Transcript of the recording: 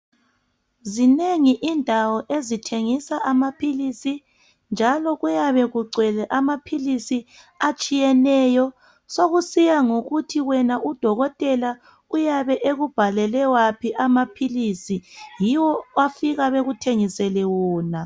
zinengi indawo ezithengisa amaphilisi njalo kuyabe kugcwele amaphilisi atshiyeneyo sokusiya ngokuhi wena udokotela uyabe ekubhalele aphi amaphilisi yiwo abafika bekuthengisele wona